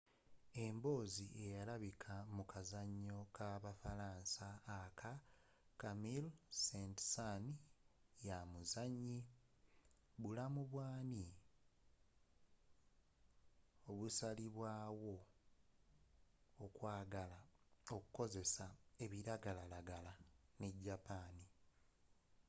emboozi eyalabikila mu kazanyo ka ba falansa ak camille saint-saens ya muzanyi bulamu bwaani obusalibwaawo okwagala okukozesa ebiragalalagala ne japan.